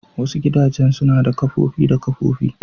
Wasu gidajen suna da kofofi da kofofi.